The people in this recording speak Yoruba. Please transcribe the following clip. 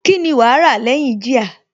Kíni wàá rà lẹ́yìn jíà?